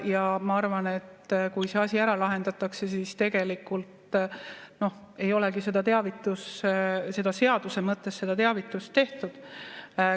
Ja ma arvan, et kui see asi ära lahendatakse, siis tegelikult ei olegi seaduse mõttes seda teavitust tehtud.